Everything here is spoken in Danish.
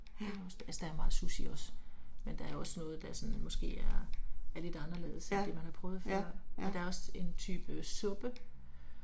Ja. Ja, ja, ja